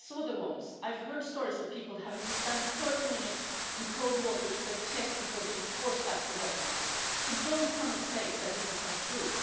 I saw the wounds. I've heard stories of people having to stand 30 minutes in cold water up to their chest before being forced back to Bosnia, so don't come and say that it is not true.